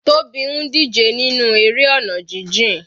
Tobi ń díje nínú eré ọ̀nà jijìn.